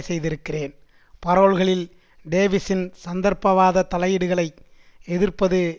செய்திருக்கிறேன் பரோல்களில் டேவிசின் சந்தர்ப்பவாத தலையீடுகளை எதிர்ப்பது